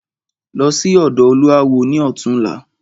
Lọ sí ọ̀dọ̀ olúawo ni ọ̀túnla!